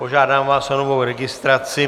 Požádám vás o novou registraci.